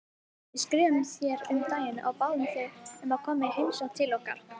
Við skrifuðum þér um daginn og báðum þig um að koma í heimsókn til okkar.